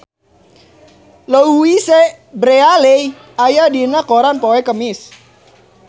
Louise Brealey aya dina koran poe Kemis